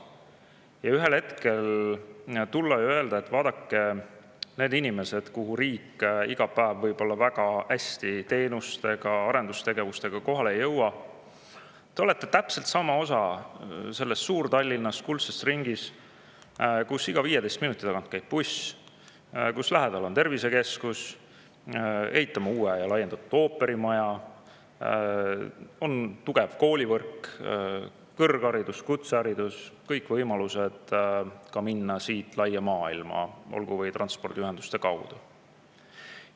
Ja ühel hetkel tulla ja öelda, et vaadake, need inimesed kohas, kuhu riik iga päev väga hästi teenustega, arendustegevustega kohale ei jõua, on täpselt samamoodi osa sellest suurest Tallinna kuldsest ringist, kus iga 15 minuti tagant käib buss, kus lähedal on tervisekeskus, ehitatakse uus ja laiendatud ooperimaja, kus on tugev koolivõrk, kõrgharidus, kutseharidus, samuti kõik võimalused minna siit laia maailma, olgu või transpordiühenduste kaudu.